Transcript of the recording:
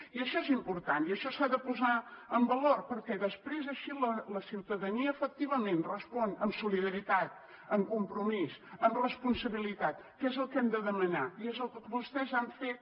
i això és important i això s’ha de posar en valor perquè després així la ciutadania efectivament respon amb solidaritat amb compromís amb responsabilitat que és el que hem de demanar i és el que vostès han fet